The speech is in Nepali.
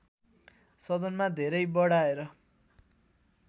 सदनमा धेरै बढाएर